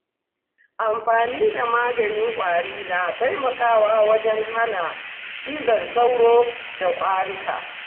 Amfani da maganin ƙwari na taimakawa wajen hana cizon sauro da ƙuraje.